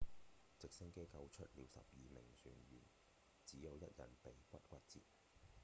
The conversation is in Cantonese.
直升機救出了十二名船員只有一人鼻骨骨折